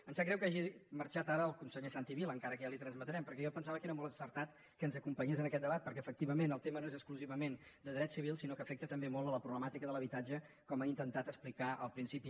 em sap greu que hagi marxat ara el conseller santi vila encara que ja li ho transmetrem perquè jo pensava que era molt encertat que ens acompanyés en aquest debat perquè efectivament el tema no és exclusivament de drets civils sinó que afecta també molt la problemàtica de l’habitatge com he intentat explicar al principi